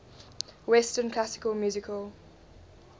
western classical music